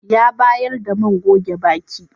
Ya bayar da man goge baki.